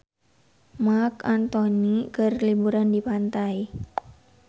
Marc Anthony keur liburan di pantai